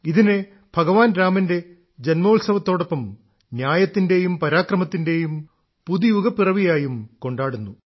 ഇതിനെ ഭഗവാൻ രാമന്റെ ജന്മോത്സവത്തോടൊപ്പം ന്യായത്തിന്റെയും പരാക്രമത്തിന്റെയും പുതുയുഗപ്പിറവി ആയും കൊണ്ടാടുന്നു